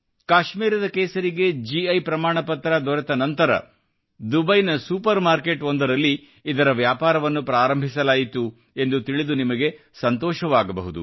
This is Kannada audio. ಕಾಶ್ಮೀರದ ಕೇಸರಿಗೆ ಗಿ ಪ್ರಮಾಣಪತ್ರ ದೊರೆತ ನಂತರ ದುಬೈನ ಸೂಪರ್ ಮಾರ್ಕೆಟ್ ಒಂದರಲ್ಲಿ ಇದರ ವ್ಯಾಪಾರವನ್ನು ಪ್ರಾರಂಭಿಸಲಾಯಿತು ಎಂದು ತಿಳಿದು ನಿಮಗೆ ಸಂತೋಷವಾಗಬಹುದು